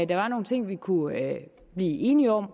der er nogle ting vi kunne blive enige om